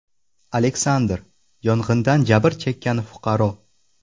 Aleksandr, yong‘indan jabr chekkan fuqaro.